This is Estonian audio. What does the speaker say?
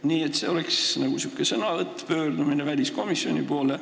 Nii et see oleks nagu säärane pöördumine väliskomisjoni poole.